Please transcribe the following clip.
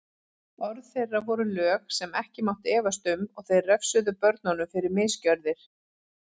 Orð þeirra voru lög sem ekki mátti efast um og þeir refsuðu börnunum fyrir misgjörðir.